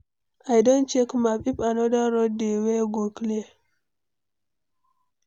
I don check map, if anoda road dey wey go clear.